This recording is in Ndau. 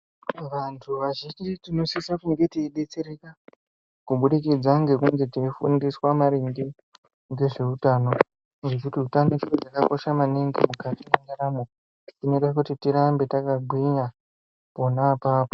Vanthu vazhinji tinosise kunge teidetsereka, kubudikidza ngekunge teifundiswa maringe ngezveutano, ngekuti utano chiro chakakosha maningi mukati mwendaramo, chinoite kuti tirambe takagwinya pona apapo.